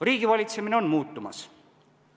Riigivalitsemine on muutumas.